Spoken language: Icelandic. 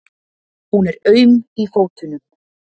Hún er aum í fótunum.